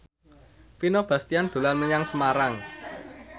Vino Bastian dolan menyang Semarang